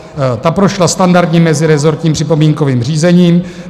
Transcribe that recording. Ta prošla standardním mezirezortním připomínkovým řízením.